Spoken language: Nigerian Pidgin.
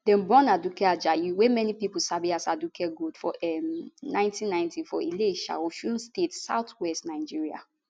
dem born aduke ajayi wey many pipo sabi as aduke gold for um 1990 for ilesha osun state southwest nigeria